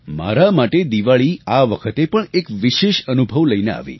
મારા માટે દિવાળી આ વખતે પણ એક વિશેષ અનુભવ લઈને આવી